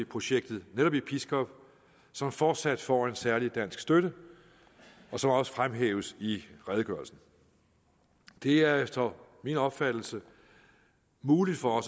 projektet netop i pskov som fortsat får en særlig dansk støtte og som også fremhæves i redegørelsen det er efter min opfattelse muligt for